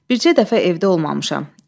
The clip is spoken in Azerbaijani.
Bircə dəfə evdə olmamışam.